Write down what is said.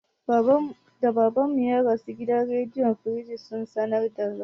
Da Baban mu ya rasu, gidan rediyo firistij sun sanar da rasuwar.